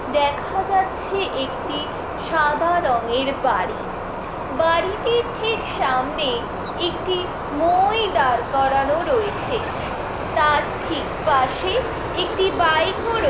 দেখা যাচ্ছে একটি সাদা রঙের বাড়ি বাড়িটির ঠিক সামনে একটি মোই দাঁড় করানো রয়েছে । তার ঠিক পাশে একটি বাইক ও রয়ে--